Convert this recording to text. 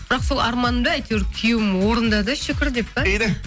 бірақ сол арманымды әйтеуір күйеуім орындады шүкір деп па